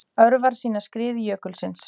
Örvar sýna skrið jökulsins.